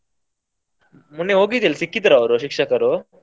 ಮೊನ್ನೆ ಹೋಗಿದ್ದೆ ಅಲ್ಲ ಸಿಕ್ಕಿದ್ರ ಅವ್ರು ಶಿಕ್ಷಕರು?